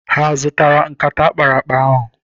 Ha zụtara nkata akparakpa ahụ?